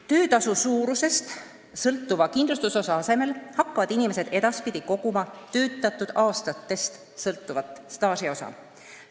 Töötasu suurusest sõltuva kindlustusosa asemel hakkavad inimesed edaspidi koguma töötatud aastatest sõltuvat staažiosa.